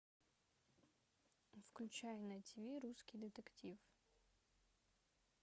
включай на тиви русский детектив